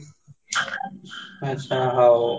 ଆଚ୍ଛା ହଉ ହଉ